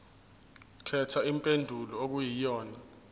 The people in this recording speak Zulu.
khetha impendulo okuyiyona